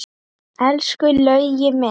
Elsku Laugi minn!